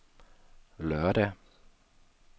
lørdag